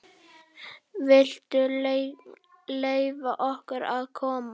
VILTU LEYFA OKKUR AÐ KOMAST!